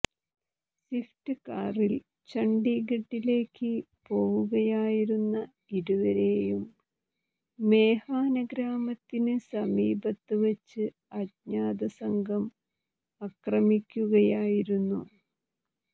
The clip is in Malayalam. സ്വിഫ്റ്റ് കാറിൽ ചണ്ഡിഗഡിലേക്ക് പോവുകയായിരുന്ന ഇരുവരെയും മേഹാന ഗ്രാമത്തിന് സമീപത്ത് വച്ച് അജ്ഞാത സംഘം അക്രമിക്കുകയായിരുന്നു